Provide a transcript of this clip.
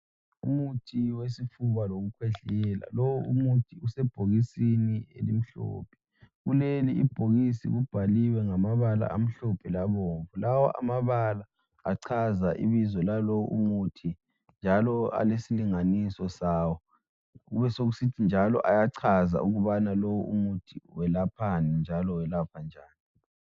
Umuthi wesifuba lokukhwehlela. Lowo muthi usebhokisini elimhlophe, kuleli ibhokisi kubhaliwe ngamabala amhlophe labomvu. Lawa amabala achaza ibizo lalowo muthi njalo alesilinganiso sawo. Kubesokusothi njalo ayachaza ukubana lowo muthi welaphani njalo welapha njani.